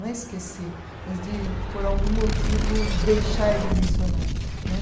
Não é esquecer, mas de por algum motivo deixar de mencionar né.